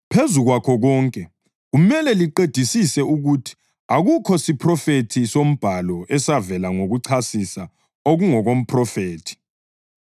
Phezu kwakho konke, kumele liqedisise ukuthi akukho siphrofethi soMbhalo esavela ngokuchasisa okungokomphrofethi.